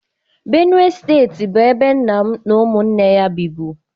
Benue steeti bụ ebe nna m na ụmụnne ya bibu.